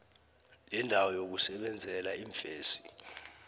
lendawo yokusebenzela iimfesi